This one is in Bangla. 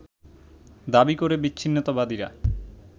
দাবী করে বিচ্ছিন্নতাবাদীরা